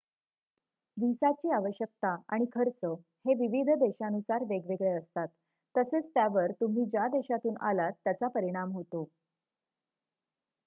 व्हिसाची आवश्यकता आणि खर्च हे विविध देशानुसार वेगवेगळे असतात तसेच त्यावर तुम्ही ज्या देशातून आलात त्याचा परिणाम होतो